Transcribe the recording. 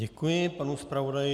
Děkuji panu zpravodaji.